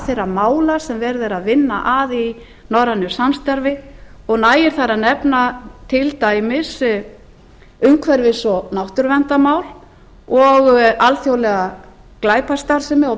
þeirra mála sem verið er að vinna að í norrænu samstarfi og nægir þar að nefna til dæmis umhverfis og náttúruverndarmál og alþjóðlega glæpastarfsemi og